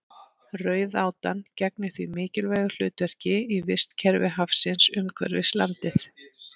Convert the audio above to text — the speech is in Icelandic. Rauðátan gegnir því mikilvægu hlutverki í vistkerfi hafsins umhverfis landið.